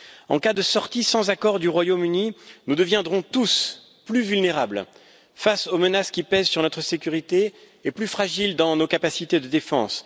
En cas de sortie sans accord du Royaume Uni, nous deviendrons tous plus vulnérables face aux menaces qui pèsent sur notre sécurité, et plus fragiles dans nos capacités de défense.